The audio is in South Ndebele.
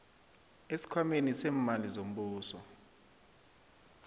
esikhwameni seemali zombuso